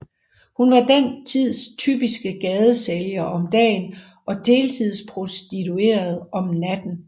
Hun var den tids typiske gadesælger om dagen og deltidsprostitueret om natten